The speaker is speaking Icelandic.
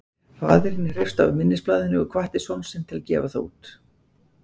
faðirinn hreifst af minnisblaðinu og hvatti son sinn til að gefa það út